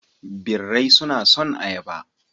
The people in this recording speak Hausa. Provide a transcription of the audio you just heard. Birai suna son ayaba.